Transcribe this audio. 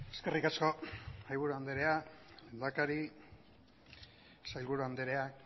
eskerrik asko mahaiburu andrea lehendakari sailburu andrea